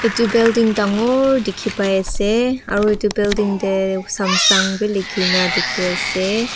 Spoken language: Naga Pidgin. etu building dangor dikhi pai ase aru etu building te samsung bi likhina dikhi ase.